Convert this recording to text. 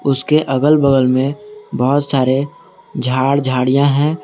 उसके अगल बगल में बहुत सारे झाड़ झाड़ियां हैं।